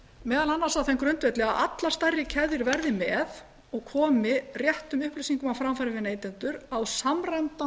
meðal annars á þeim grundvelli að allar stærri keðjur verði með og komi réttum upplýsingum á framfæri við neytendur á samræmdan